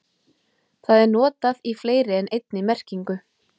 Það er notað í fleiri en einni merkingu.